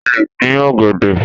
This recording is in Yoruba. O lè dín ọ̀gẹ̀dẹ̀.